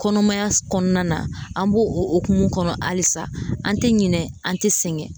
Kɔnɔmaya kɔnɔna an b'o hokumu kɔnɔ halisa an tɛ ɲinɛ an tɛ sɛgɛn.